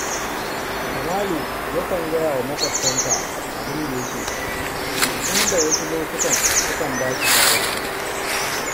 Kamalu yakan gaya wa maƙotansa abun da yake ciki, inda wasu lokutan sukan ba shi shawara